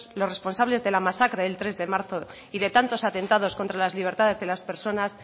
los responsables de la masacre del tres de marzo y de tantos atentados contra las libertades de las personas